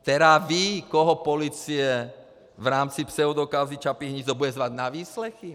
Která ví, koho policie v rámci pseudokauzy Čapí hnízdo bude zvát na výslechy!